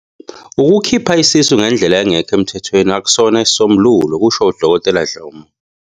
Ukukhipha isisu ngendlela engekho emthethweni akusona isisombululo," kusho uDkt Dhlomo.